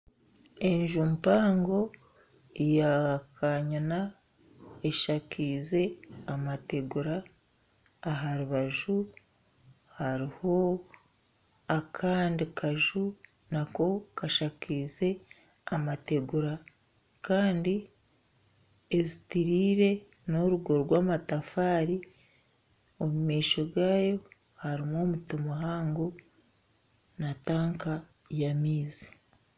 Enju mpango ya kanyina, eshakaize amatagura aharubaju hariho akandi kaju nako kashakaize amategura kandi ezitiriire n'orugo rw'amatafaari, omu maisho gaayo harimu omuti muhango na tanka mpango y'amaizi